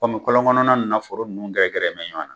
kɔlɔn kɔnɔna ninnu na foror ninnu gɛrɛgɛrɛ mɛ ɲɔan na